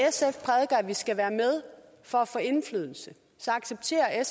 vi skal være med for at få indflydelse accepterer